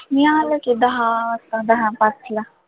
मी आलो की दहा वाजता, दहा पाचला